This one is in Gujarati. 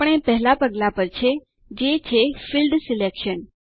આપણે પહેલા પગલા પર છે જે છે ફિલ્ડ સિલેક્શન